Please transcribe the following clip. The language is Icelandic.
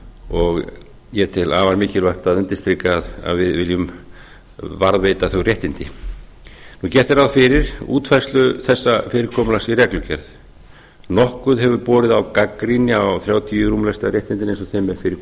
og ég tel afar mikilvægt að undirstrika að við viljum varðveita þau réttindi gert er ráð fyrir útfærslu þessa fyrirkomulags í reglugerð nokkuð hefur borið á gagnrýni á þrjátíu rúmlesta réttindin eins og þeim fyrir